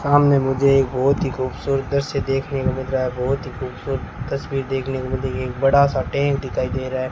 सामने मुझे एक बहुत ही खूबसूरत दृश्य देखने को मिल रहा है बहुत ही खूबसूरत तस्वीर देखने को मिल रही है एक बड़ा सा टेंट दिखाई दे रहा है।